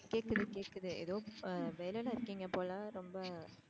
எனக்கு கேக்குது ஏதோ வேலையில இருக்கீங்க போல ரொம்ப